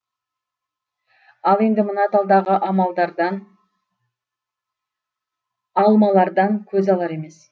ал енді мына талдағы алмалардан көз алар емес